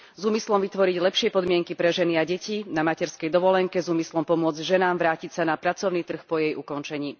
S úmyslom vytvoriť lepšie podmienky pre ženy a deti na materskej dovolenke, s úmyslom pomôcť ženám vrátiť sa na pracovný trh po jej ukončení.